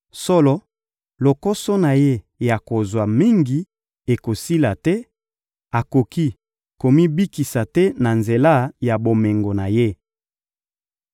Solo, lokoso na ye ya kozwa mingi ekosila te, akoki komibikisa te na nzela ya bomengo na ye.